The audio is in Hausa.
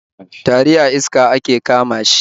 Tari a iska ake kama shi